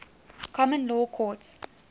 common law courts